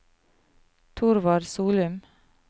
Thorvald Solum